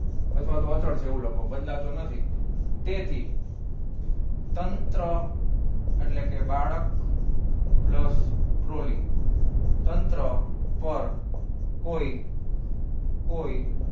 અથવા તો પાછળથી છે એવું લખો બદલાતો નથી તેથી તંત્ર એટલે કે બાળક plus trolly તંત્ર પર કોઈ કોઈ